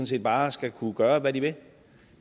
set bare skal kunne gøre hvad de vil